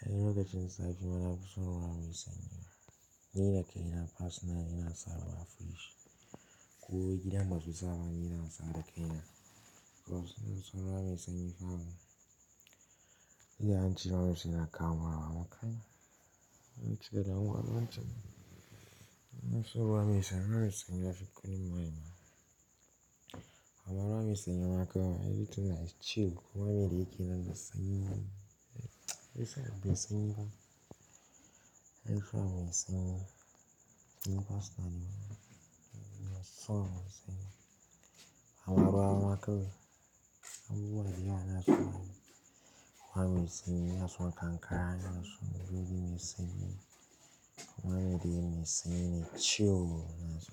Ai, lokacin zafi ma nafi son ruwa mai sanyi. Ni da kaina personal ina sa ruwa a fridge. Ko gida basu sa ba ina sa da ƙaina. To sun san ruwa me sanyi fa. Idan an cire ruwa mai sanyi na kama warwara kai. An cika da unguwar nan can. Na so ruwa mai sanyi, ruwa mai sanyi na fi ƙule mani ma. Amma ruwa mai sanyi ma kai, ai, ita na chill ruwa mai dake nan da sanyi. Ruwa mai sanyi fa. Ai, ruwa mai sanyi. Personally ma ina so ruwa mai sanyi. Amma ruwa maka, abubuwa da yana so ruwa mai sanyi, yana so kankara, yana so buɗe mai sanyi, ruwa mai dake mai sanyi ne chill yana so.